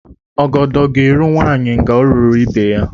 Ọgọdọ gá-eru nwanyị ngá o ruru ibe ya